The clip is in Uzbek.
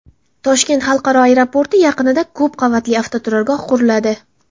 Toshkent xalqaro aeroporti yaqinida ko‘p qavatli avtoturargoh quriladi.